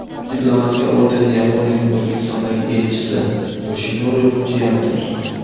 Diplomatga ordenni Yaponiyaning O‘zbekistondagi elchisi Yoshinori Fujiyama topshirdi.